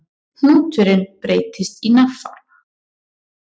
Hnúturinn breytist í nafla.